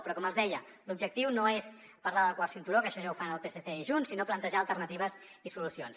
però com els deia l’objectiu no és parlar del quart cinturó que això ja ho fan el psc i junts sinó plantejar alternatives i solucions